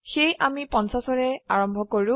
সেয়ে আমি 50ৰে আৰম্ভ কৰো